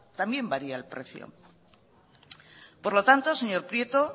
también varía el precio por lo tanto señor prieto